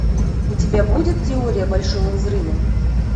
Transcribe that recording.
у тебя будет теория большого взрыва